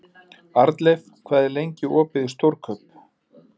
Arnleif, hvað er lengi opið í Stórkaup?